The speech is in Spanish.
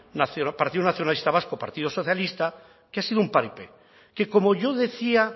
partido nacionalista vasco partido socialista que ha sido un paripé que como yo decía